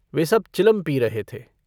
वे सब चिलम पी रहे थे।